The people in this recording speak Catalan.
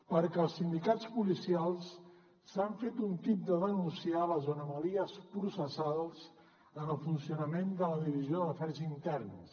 perquè els sindicats policials s’han fet un tip de denunciar les anomalies processals en el funcionament de la divisió d’afers interns